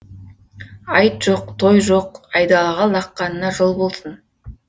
айт жоқ той жоқ айдалаға лаққанына жол болсын